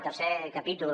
tercer capítol